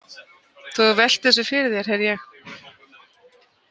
Þú hefur velt þessu fyrir þér, heyri ég.